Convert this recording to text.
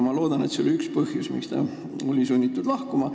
Ma loodan, et see oli üks põhjus, miks ta oli sunnitud lahkuma.